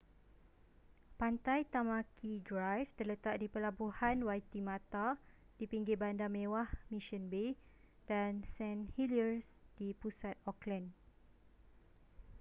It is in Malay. pantai tamaki drive terletak di pelabuhan waitemata di pinggir bandar mewah mission bay dan st heliers di pusat auckland